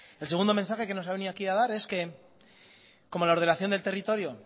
el segundo mensaje que nos ha venido aquí a dar es que como la ordenación del territorio